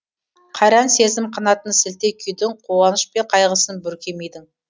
қайран сезім қанатын сілте күйдің қуаныш пен қайғысын бүрке мидың